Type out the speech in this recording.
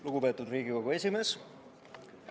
Lugupeetud Riigikogu esimees!